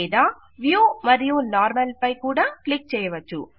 లేదా వ్యూ మరియు నార్మల్ పై కూడా క్లిక్ చేయవచ్చు